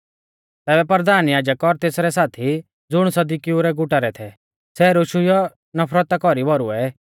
तैबै परधान याजक और तेसरै साथी ज़ुण सदुकिऊ रै गुटा रै थै सै रोशुइयौ नफरता कौरी भौरुऐ